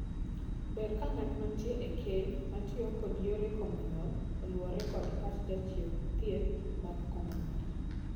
Ber ka ng'at mantie e keny matiyo kod yore komo nyuol oluwore kod pach jachiew thieth mag komo nyuol.